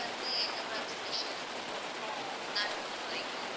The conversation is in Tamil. வந்து என்ன மாதிரி special இப்போ மூணாரை பொறுத்தவரைக்கும்